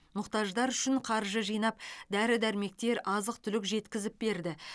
мұқтаждар үшін қаржы жинап дәрі дәрмектер азық түлік жеткізіп берді